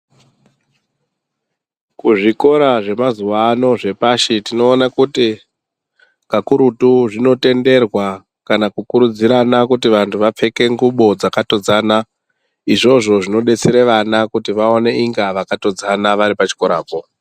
Kuzvikora zvemazuva ano zvepashi tinoone kuti kakurutu zvinotenderwa kana kukurudzirana kuti vantu vapfeke ngubo dzakatodzana. Izvozvo zvinodetsere vana kuti vaone inga vakatodzana vari pachikorapo.